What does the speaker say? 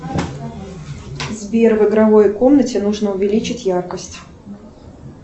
сбер в игровой комнате нужно увеличить яркость